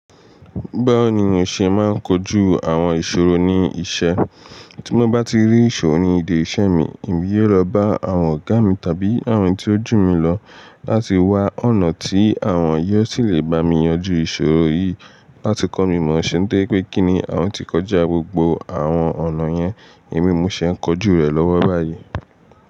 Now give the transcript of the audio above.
Báwo ni mo ṣe máa ń kojú àwọn ìṣòro ní iṣẹ́? Tí mo bá ti rí ìṣòro ní ìdí iṣẹ́ mi, èmi yóò lọ bá àwọn ọ̀gá mi tàbí àwọn tí ó jù mí lọ láti wá ọ̀nà tí àwọn yóò sì lè bá mi yanjú ìṣòro yìí láti kọ́ mi mọ ṣé ńtoripé kínni àwọn ti kọjá gbogbo àwọn ọ̀nà yẹn èmi mo ṣé ń kojú rẹ̀ lọ́wọ́ báyìí.